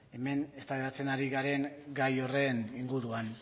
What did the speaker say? hemen eztabaidatzen ari garen gai horren inguruan